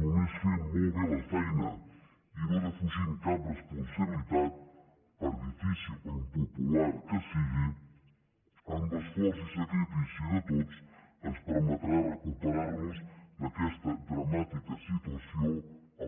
només fent molt bé la feina i no defugint cap responsabilitat per difícil o impopular que sigui amb esforç i sacrifici de tots ens permetrà recuperar nos d’aquesta dramàtica situació